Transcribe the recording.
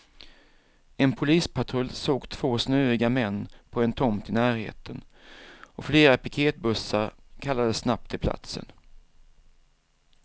En polispatrull såg två snöiga män på en tomt i närheten och flera piketbussar kallades snabbt till platsen.